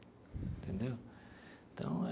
Entendeu? Então é.